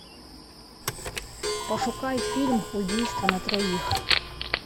пошукай фильм убийство на троих